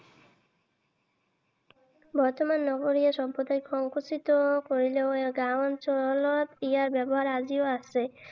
বৰ্তমান নগৰীয়া সভ্যতাই সংকুচিত কৰিলেও গাঁও অঞ্চলত ইয়াৰ ব্যৱহাৰ আজিও আছে।